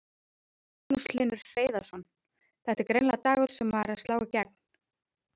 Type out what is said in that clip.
Magnús Hlynur Hreiðarsson: Þetta er greinilega dagur sem er að slá í gegn?